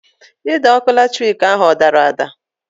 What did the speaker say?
Ide ọkụ latrik ahụ ọ dara ada?